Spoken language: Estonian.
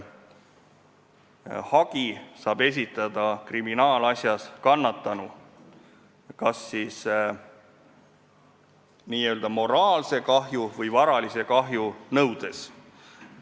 Hagi saab kriminaalasjas esitada kannatanu, kas siis n-ö moraalse kahju või varalise kahju nõudes.